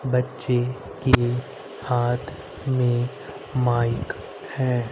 बच्चे के हाथ में माइक है।